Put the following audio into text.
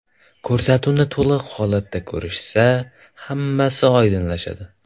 Ko‘rsatuvni to‘liq holatda ko‘rishsa, hammasi oydinlashadi.